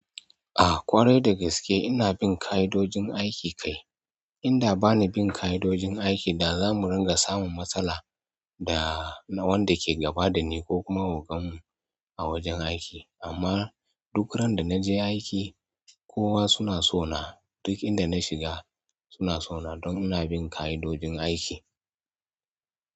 A ƙwarai da gaske ina bin ƙa'idojin aiki kai. Inda bani bin ƙa'idojin aiki da za mu ringa samun matsala da wanda ke gaba da ni ko kuma ogan mu a wajen aiki. Amma duk ran da na je aiki, kowa suna sona. Duk inda na shiga suna sona don ina bin ƙa'idojin aiki.